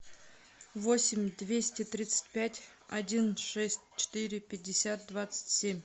восемь двести тридцать пять один шесть четыре пятьдесят двадцать семь